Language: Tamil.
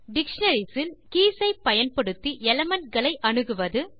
டிக்ஷனரிஸ் இல் கே ஐ பயன்படுத்தி எலிமென்ட்ஸ் ஐ அணுகுவது